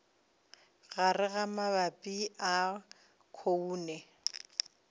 gare ga magapi a khoune